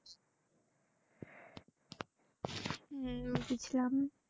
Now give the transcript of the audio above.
এইও বুঝলাম।